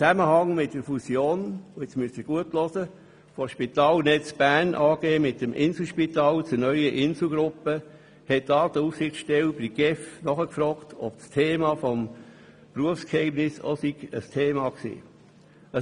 In Zusammenhang mit der Fusion – und hier müssen Sie gut zuhören – der SpitalNetz Bern AG mit dem Inselspital zur neuen Inselgruppe, hat die Datenschutzaufsichtsstelle bei der GEF nachgefragt, ob die Frage des Berufsgeheimnisses auch Thema war.